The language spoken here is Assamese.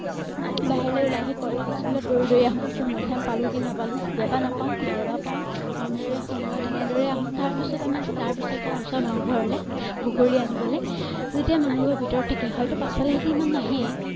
বাহিৰলে ওলাই আহি school ত দৌৰি দৌৰি আহোঁ তেতিয়া মধুৰীআম পালো কি নাপালো কেতিয়াবা নাপাও কেতিয়াবা পাওঁ তেনেদৰে সময়ত এনেদৰে আহো তাৰ পিছত আমি তাৰ পিছত যাওঁ ওচৰ মানুহ ঘৰলে বগৰী আনিবলে যেতিয়া মানুহবোৰে ভিতৰত থাকে হয়তো পাছফালে সিঁহতি সিমান নাহে